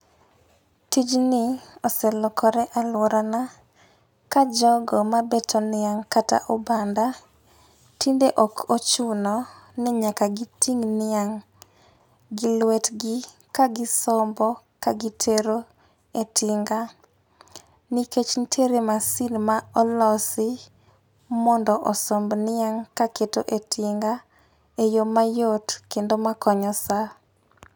Tijni oselokore alworana ka jogo mabeto niang' kata obanda tinde ok ochuno ni nyaka giting' niang' gi lwetgi ka gisombo ka gitero e tinga nikech nitiere masin ma olosi mondo osomb niang' kaketo e tinga e yo mayot kendo makonyo sa.